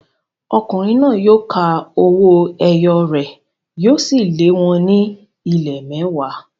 Ọkùnrin náà yóò ka owó ẹyọ rẹ̀, yóò sì lé wọn ní ìlé mẹ́wàá.